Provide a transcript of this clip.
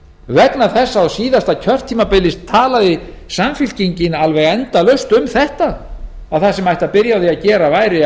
vegna þess að á síðasta kjörtímabili talaði samfylkingin alveg endalaust um þetta að það sem byrja ætti á að gera væri